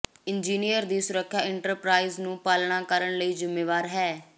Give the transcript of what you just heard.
engineer ਦੀ ਸੁਰੱਖਿਆ enterprise ਨੂੰ ਪਾਲਣਾ ਕਰਨ ਲਈ ਜ਼ਿੰਮੇਵਾਰ ਹੈ